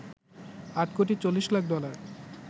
৮ কোটি ৪০ লাখ ডলার